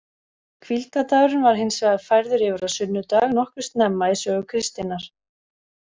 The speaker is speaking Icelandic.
Hvíldardagurinn var hins vegar færður yfir á sunnudag nokkuð snemma í sögu kristninnar.